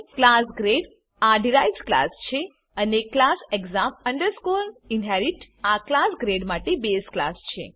class grade આ derived class છે અને ક્લાસ exam inherit આ ક્લાસ ગ્રેડ માટે બેઝ ક્લાસ છે